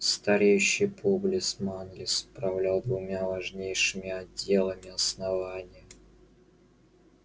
стареющий публис манлис управлял двумя важнейшими отделами основания